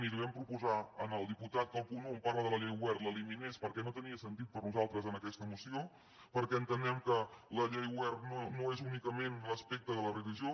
i li vam proposar al diputat que el punt un on parla de la llei wert l’eliminés perquè no tenia sentit per a nosaltres en aquesta moció perquè entenem que la llei wert no és únicament l’aspecte de la religió